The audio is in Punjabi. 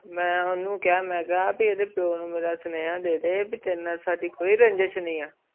ਮੈਂ ਓਨੁ ਕੀਆ ਮੈਂ ਆਖਿਆ ਐਡੇ ਪਿਯੋ ਨੂੰ ਮੇਰਾ ਸਨੇਹਾ ਦੇ ਦੇ ਵੀ ਤੇਰੇ ਨਾਲ ਸਾਡੀ ਕੋਈ ਰੰਜਿਸ਼ ਨਾਈ ਹੈ